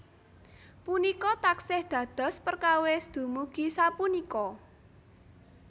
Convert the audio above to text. Punika taksih dados perkawis dumugi sapunika